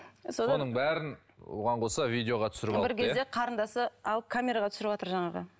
соның бәрін оған қоса видеоға түсіріп алыпты қарындасы алып камераға түсіріватыр жаңағы